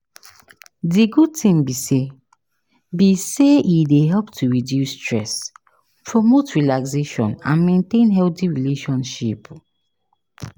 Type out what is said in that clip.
di good thing be say be say e dey help to reduce stress, promote relaxation and maintain healthy relationship.